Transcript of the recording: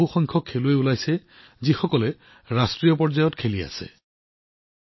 ইয়াৰ পৰা বৃহৎ সংখ্যক এনে খেলুৱৈৰ উন্মেষ ঘটিছে যিসকলে ৰাষ্ট্ৰীয় পৰ্যায়ত খেলি আছে